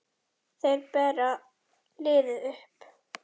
Þeir bera liðið uppi.